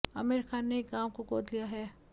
आमिर खान ने एक गांव को गोद लिया है